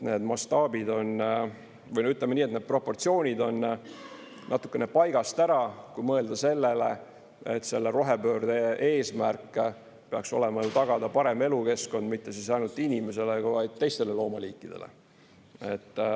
Need mastaabid on või ütleme nii, et need proportsioonid on natuke paigast ära, kui mõelda sellele, et rohepöörde eesmärk peaks olema tagada parem elukeskkond mitte ainult inimesele, vaid ka teistele loomaliikidele.